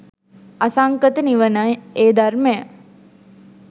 අසංඛත නිවනයි ඒ ධර්මය.